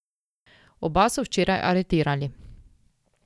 Oba so včeraj aretirali.